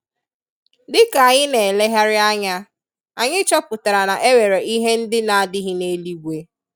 Dika anyi n'elehari anya, anyi chọpụtara na enwere ihe ndi na adighi n'eluigwe.